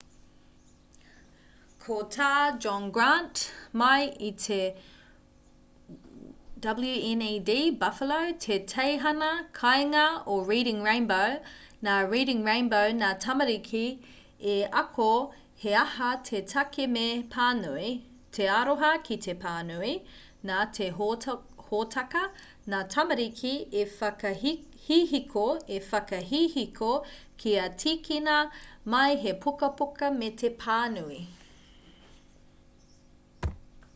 ko tā john grant mai i te wned buffalo te teihana kāinga o reading rainbow nā reading rainbow ngā tamariki i ako he aha te take me pānui,... te aroha ki te pānui - [nā te hōtaka] ngā tamariki i whakahihiko kia tīkina mai he pukapuka me te pānui.